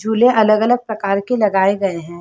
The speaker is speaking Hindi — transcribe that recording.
जुले अलग-अलग प्रकार के लगाये गए हे।